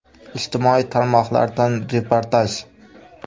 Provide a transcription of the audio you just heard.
Ijtimoiy tarmoqlardan reportaj.